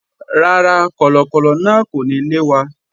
Rárá, kọ̀lọ̀kọ̀lọ̀ náà kò ní lé wa